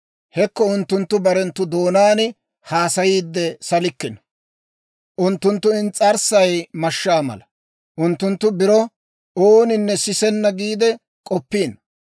Hekko, unttunttu barenttu doonaan haasayiide salikkino; unttunttu ins's'arssay mashshaa mala. Unttunttu biro, «Ooninne sisenna» giide k'oppiino.